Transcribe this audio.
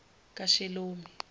kashelomi